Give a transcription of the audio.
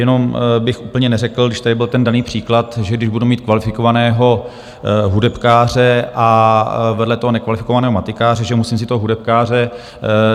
Jenom bych úplně neřekl, když tady byl ten daný příklad, že když budu mít kvalifikovaného hudebkáře a vedle toho nekvalifikovaného matikáře, že musím vzít toho hudebkáře.